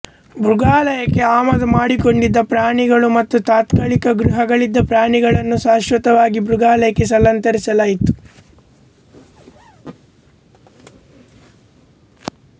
ಮೃಗಾಲಯಕ್ಕೆ ಆಮದು ಮಾಡಿಕೊಂಡಿದ್ದ ಪ್ರಾಣಿಗಳು ಮತ್ತು ತಾತ್ಕಾಲಿಕ ಗೃಹಗಳಲ್ಲಿದ್ದ ಪ್ರಾಣಿಗಳನ್ನು ಶಾಶ್ವತವಾಗಿ ಮೃಗಾಲಯಕ್ಕೆ ಸ್ಥಳಾಂತರಿಸಲಾಯಿತು